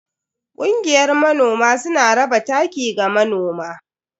Kungiyar manoman suna raba taki ga manoma.